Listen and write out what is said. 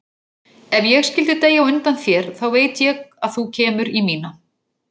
Ef ég skyldi deyja á undan þér þá veit ég að þú kemur í mína.